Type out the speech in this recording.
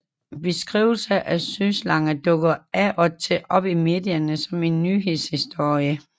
Beskrivelser af søslanger dukker af og til op i medierne som en nyhedshistorie